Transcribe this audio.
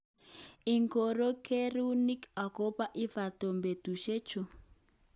Ingoro kere'nguk okobo Everton betusyechu?